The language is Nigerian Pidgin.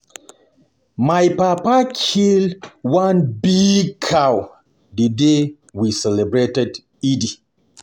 My papa kill one big cow the day we dey celebrate Eid